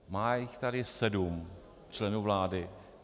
Má jich tady sedm, členů vlády.